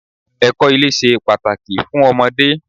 Ẹ̀kọ́ ilé ṣe pàtàkì fún ọmọdé.